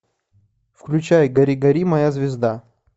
включай гори гори моя звезда